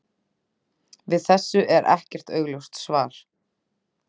Við þessu er ekkert augljóst svar.